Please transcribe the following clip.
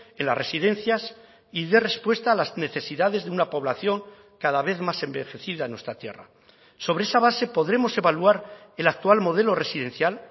en las residencias y dé respuesta a las necesidades de una población cada vez más envejecida en nuestra tierra sobre esa base podremos evaluar el actual modelo residencial